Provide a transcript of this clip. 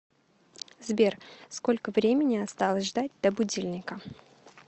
сбер сколько времени осталось ждать до будильника